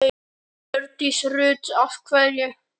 Hjördís Rut: Af hverju?